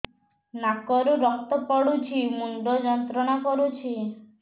ନାକ ରୁ ରକ୍ତ ପଡ଼ୁଛି ମୁଣ୍ଡ ଯନ୍ତ୍ରଣା କରୁଛି